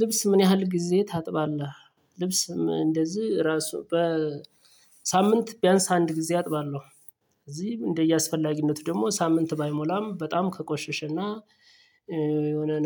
ልብስ ምን ያህል ጊዜ ታጥባለህ? ልብስም እንደዚህ ራሱ በሳምንት ቢያንስ አንድ ጊዜ አጥባለሁ እዚህ እንደየአስፈላጊነቱ ደግሞ ሳምንት ባይሞላም በጣም ከቆሸሸና